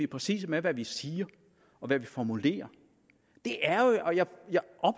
præcise med hvad vi siger og hvad vi formulerer er